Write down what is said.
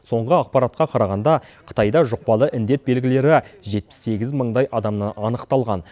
соңғы ақпаратқа қарағанда қытайда жұқпалы індет белгілері жетпіс сегіз мыңдай адамнан анықталған